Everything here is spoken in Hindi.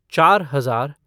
चार हजार